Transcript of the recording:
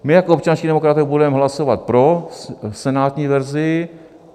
My jako občanští demokraté budeme hlasovat pro senátní verzi.